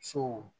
Sow